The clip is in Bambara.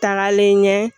Tagalen ɲɛ